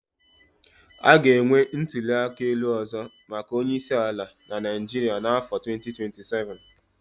A ga-enwe ntuli aka elu ọzọ maka onye isi ala na Naịjirịa n'afọ 2027.